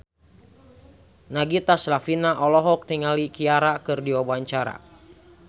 Nagita Slavina olohok ningali Ciara keur diwawancara